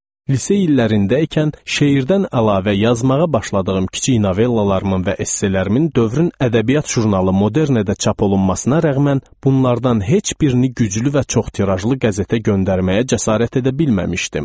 Lise illərində ikən şeirdən əlavə yazmağa başladığım kiçik novellalarımın və esselərimin dövrün ədəbiyyat jurnalı Modernedə çap olunmasına rəğmən bunlardan heç birini güclü və çox tirajlı qəzetə göndərməyə cəsarət edə bilməmişdim.